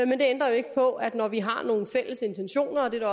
men det ændrer jo ikke på at når vi har nogle fælles intentioner om det